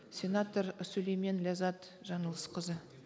сенатор сүлеймен ләззат жаңылысқызы